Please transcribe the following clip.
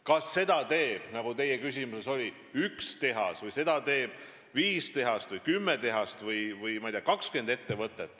Kas seda teeb, nagu teie küsimuses oli, üks tehas või teevad seda viis, kümme või 20 tehast?